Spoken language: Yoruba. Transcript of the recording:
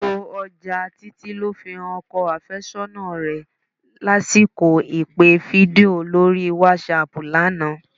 Gbogbo ọjà Títí ló fi han ọkọ àfẹ́sọ́nà rẹ lásìkò ìpè fídíò lórí wásáaàpù lánàá